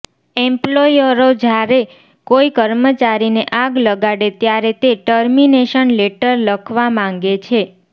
એમ્પ્લોયરો જ્યારે કોઈ કર્મચારીને આગ લગાડે ત્યારે તે ટર્મિનેશન લેટર લખવા માંગે છે